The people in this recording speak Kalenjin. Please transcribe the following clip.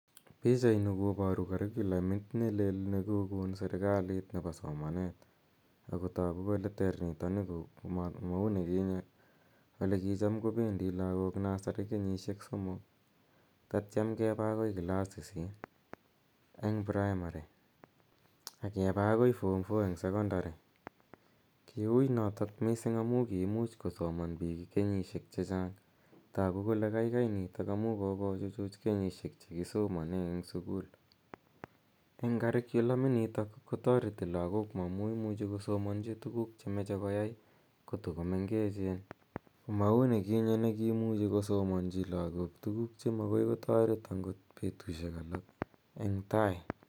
Pichani koparu Curiculamit ne lel ne kokon serikalit nepo somanet ako tagu kole ter nitani, ma u ni kinye ne kicham ko pendi lagook nasari kenyisiek somok tatiam kepa agoi class sisit eng' primari ak kepa agoi form four eng' sekondari. Kiui notok missing' amu kiimuch kosoman piik kenyisiek che chang'. Tagu kole kaikai nitok amu kokochuchuch kenyisiek che kisomane eng' sukul. Eng' curriculam initok kotareti lagook amu imuchi kosomanchi tuguuk che mache koyai kotukomengechen, ma u ne kinye ne kiimuchi kosomanchi lagook tuguuk che magoi angot kotaret petushek alak eng' tai.